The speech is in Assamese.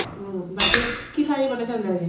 উম । বাকী খিচাৰি বনাইছে নে নাই আজি ?